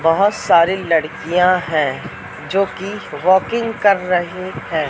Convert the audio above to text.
बहुत सारी लड़कियां हैं जो कि वाकिंग कर रही हैं।